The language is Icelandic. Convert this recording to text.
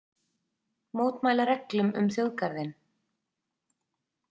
Mótmæla reglum um þjóðgarðinn